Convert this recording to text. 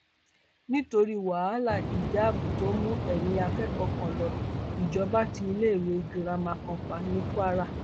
nítorí wàhálà ìjáàbù tó mú ẹmí akẹkọọ kan lo ìjọba tí iléèwé girama kan pa ní kwara